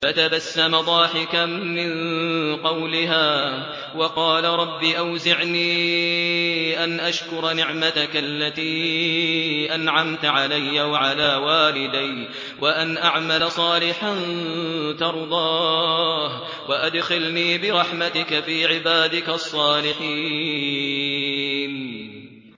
فَتَبَسَّمَ ضَاحِكًا مِّن قَوْلِهَا وَقَالَ رَبِّ أَوْزِعْنِي أَنْ أَشْكُرَ نِعْمَتَكَ الَّتِي أَنْعَمْتَ عَلَيَّ وَعَلَىٰ وَالِدَيَّ وَأَنْ أَعْمَلَ صَالِحًا تَرْضَاهُ وَأَدْخِلْنِي بِرَحْمَتِكَ فِي عِبَادِكَ الصَّالِحِينَ